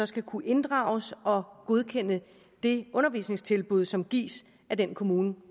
skal kunne inddrages og godkende det undervisningstilbud som gives af den kommune